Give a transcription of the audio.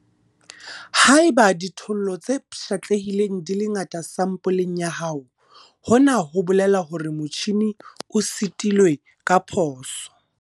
Haeba dithollo tse pshatlehileng di le ngata sampoleng ya hao, hona ho bolela hore motjhine o setilwe ka phoso.